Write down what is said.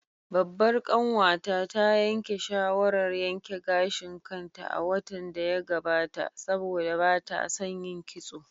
Babbar kanwata ta yanke shawarar yanke gashin kanta a watan da ya gabata saboda ba ta son yin kitso